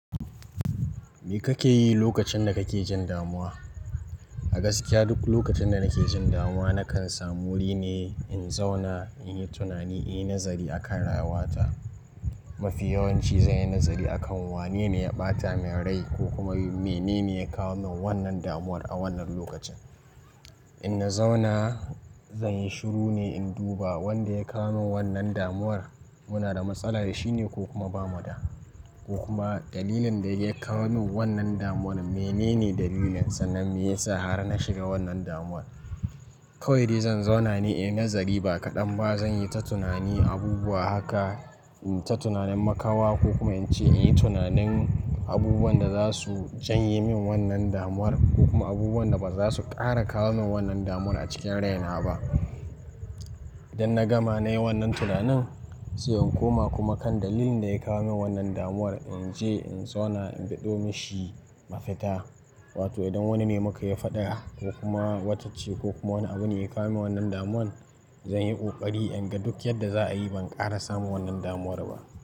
Me kake yi lokacin da kake jin damuwa? A gaskiya duk lokacin da nake jin damuwa, na kan samu wuri ne in zauna in yi tunani, in yi nazari akan rayuwata. Mafi yawanci zan yi nazari akan wane ne ya ɓata min rai ko kuma menene ya kawo min wannan damuwar a wannan lokacin. In na zauna, zan yi shiru ne in duba wanda ya kawo min wannan damuwar. Muna da matsala da shi ne ko kuma ba mu da, ko kuma dalilin da ya kawo min wannan damuwar menene dalilinsa? Dan me ya sa har na shiga wannan damuwar? Kawai dai zan zauna ne in yi nazari ba kaɗan ba zan yi ta tunani abubuwa haka, in yi ta tunanin makawa ko kuma in ce in yi tunanin abubuwan da za su janye min wannan damuwar ko kuma abubuwan da ba za su ƙara kawo min wannan damuwar a cikin raina ba. Idan na gama nayi wannan tunanin, sai in koma kuma kan dalilin da ya kawo min wannan damuwar, in je in zauna in biɗo mishi mafita. Wato idan wani ne muka yi faɗa ko kuma wata ce ko kuma wani abu ne ya kawo min wannan damuwar, zan yi ƙoƙari in ga duk yadda za a yi ban ƙara samun wannan damuwar ba.